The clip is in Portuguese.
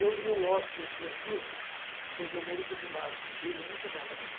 Eu li o Ócio Criativo, do Domênico de Masi, um livro muito bom também, gente.